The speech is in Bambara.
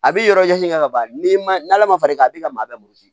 A bɛ yɔrɔ ɲɛsin ŋa banni n'ala ma far'i kan i bi ka maa bɛɛ wili